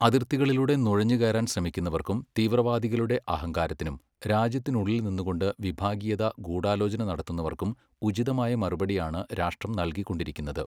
അതിർത്തികളിലൂടെ നുഴഞ്ഞുകയറാൻ ശ്രമിക്കുന്നവർക്കും തീവ്രവാദികളുടെ അഹങ്കാരത്തിനും രാജ്യത്തിനുള്ളിൽ നിന്നു കൊണ്ട് വിഭാഗീയത ഗൂഢാലോചന നടത്തുന്നവർക്കും ഉചിതമായ മറുപടിയാണ് രാഷ്ട്രം നല്കിക്കൊണ്ടിരിക്കുന്നത്.